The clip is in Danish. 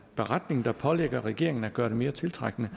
beretning der pålægger regeringen at gøre det mere tiltrækkende